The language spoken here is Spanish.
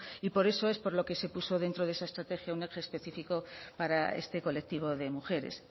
y por eso es por lo que se puso dentro de esa estrategia un eje específico para este colectivo de mujeres